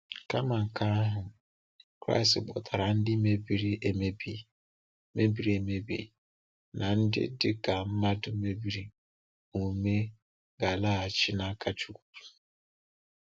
Kama nke ahụ, Kraịst kpọtara ndị mebiri emebi mebiri emebi na ndị dị ka mmadụ mebiri omume ga-alaghachi n’aka Chúkwú.